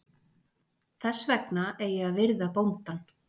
Þess vegna eigi að virða bóndann.